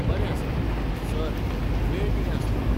बरें आसा, सर, वेळ कितें आसतलो?